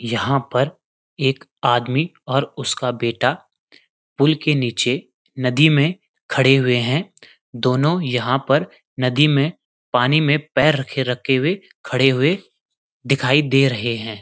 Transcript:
यहाँ पर एक आदमी और उसका बेटा पुल के नीचे नदी में खड़े हुए हैं दोनों यहाँ पर नदी में पानी में पैर रखे-रखे हुए पानी में खड़े हुए दिखई दे रहे हैं।